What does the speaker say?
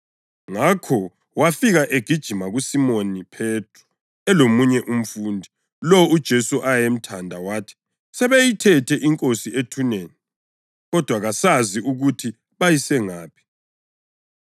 Ngakho wafika egijima kuSimoni Phethro elomunye umfundi, lowo uJesu ayemthanda, wathi, “Sebeyithethe iNkosi ethuneni, kodwa kasazi ukuthi bayise ngaphi!”